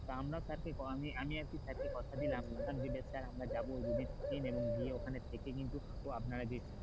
তা আমারও sir কে আমি আমি আর কি sir কে কথা দিলাম যে বেশ sir আমরা যাব দুদিন এবং গিয়ে ওখানে থেকে কিন্তু আপনারা যে,